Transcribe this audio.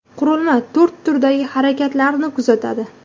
Qurilma to‘rt turdagi harakatlarni kuzatadi.